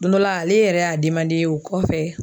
Don dɔ la ale yɛrɛ y'a o kɔfɛ